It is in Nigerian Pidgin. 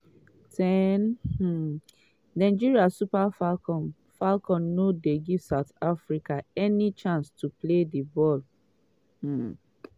10' um nigeria super falcons falcons no dey give south africa any chance to play ball. um